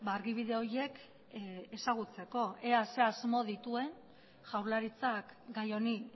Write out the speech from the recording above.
argibide horiek ezagutzeko ea zer asmo dituen jaurlaritzak gai honi